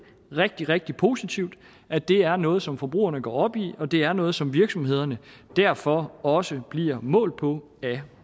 rigtig rigtig positivt at det er noget som forbrugerne går op i og at det er noget som virksomhederne derfor også bliver målt på af